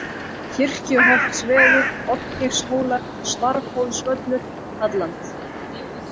Kirkjuholtsvegur, Oddgeirshólar, Svarfhólsvöllur, Halland